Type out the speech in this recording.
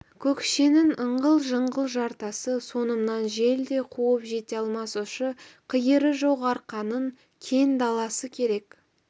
көкшенің ыңғыл-жыңғыл жартасы соңымнан жел де қуып жете алмас ұшы-қиыры жоқ арқаның кең даласы керек